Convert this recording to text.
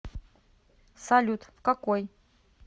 салют в какой